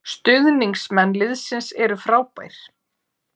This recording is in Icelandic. Stuðningsmenn liðsins eru frábær